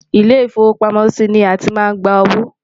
ilé ifowo pàmò sí ní àti má ń gbà owó